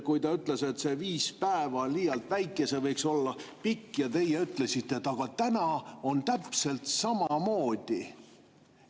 Kui ta ütles, et viis päeva on liialt väike aeg, see võiks olla pikem, siis teie ütlesite, et aga täna on täpselt samamoodi.